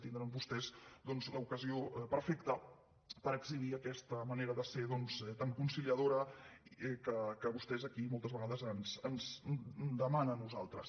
tindran vostès doncs l’ocasió perfecta per exhibir aquesta manera de ser tan conciliadora que vostès aquí moltes vegades ens demanen a nosaltres